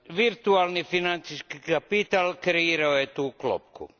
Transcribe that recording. Virtualni financijski kapital kreirao je tu klopku.